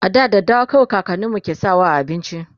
a da daddawa kawai kakaninmu ke sawa a abinci